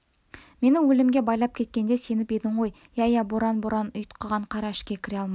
мені өлімге байлап кеткенде сеніп едің ғой иә иә боран боран ұйтқыған қар ішке кіре алмай